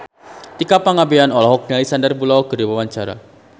Tika Pangabean olohok ningali Sandar Bullock keur diwawancara